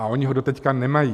A oni ho doteď nemají.